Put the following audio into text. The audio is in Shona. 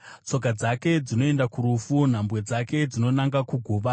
Tsoka dzake dzinoenda kurufu; nhambwe dzake dzinonanga kuguva.